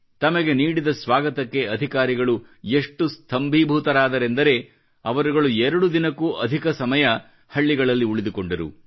ತಮಗೆ ನೀಡಿದ ಸ್ವಾಗತಕ್ಕೆ ಅಧಿಕಾರಿಗಳು ಎಷ್ಟು ಸ್ತಂಬೀಭೂತರಾದರೆಂದರೆ ಅವರುಗಳು ಎರಡು ದಿನಕ್ಕೂ ಅಧಿಕ ಸಮಯ ಹಳ್ಳಿಗಳಲ್ಲಿ ಉಳಿದುಕೊಂಡರು